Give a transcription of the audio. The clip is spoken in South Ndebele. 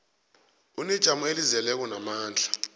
unejamo elizeleko namandla